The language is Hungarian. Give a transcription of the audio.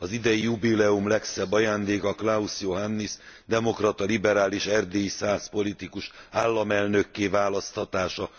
Az idei jubileum legszebb ajándéka Klaus Johannis demokrata liberális erdélyi szász politikus államelnökké választása.